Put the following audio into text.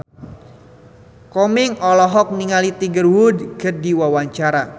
Komeng olohok ningali Tiger Wood keur diwawancara